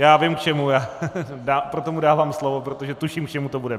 Já vím k čemu, proto mu dávám slovo, protože tuším, k čemu to bude.